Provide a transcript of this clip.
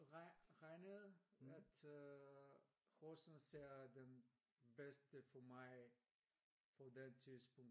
Regnede at Horsen er den bedste for mig på det tidspunkt